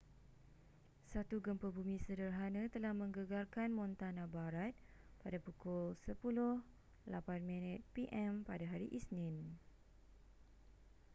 satu gempa bumi sederhana telah menggegarkan montana barat pada pukul 10.08 p.m. pada hari isnin